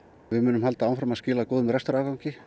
við munum halda áfram að skila góðum rekstrarafgangi